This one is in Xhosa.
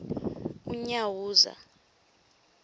unyawuza